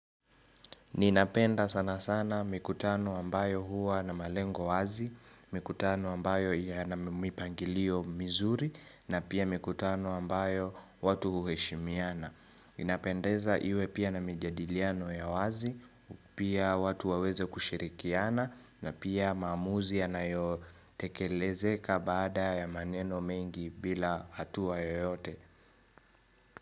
Ninapenda sana sana mikutano ambayo huwa na malengo wazi, mikutano ambayo yana mipangilio mizuri, na pia mikutano ambayo watu huheshimiana. Ninapendeza iwe pia na mijadiliano ya wazi, pia watu waweze kushirikiana, na pia maamuzi yanayotekelezeka baada ya maneno mengi bila hatuwa yoyote.